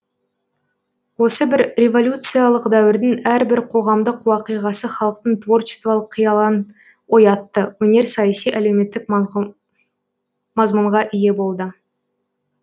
осы бір революциялық дәуірдің әрбір қоғамдық уақиғасы халықтың творчестволық қиялын оятты өнер саяси әлеуметтік мазмұнға ие болды